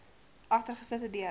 agter geslote deure